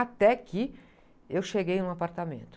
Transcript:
Até que eu cheguei em um apartamento.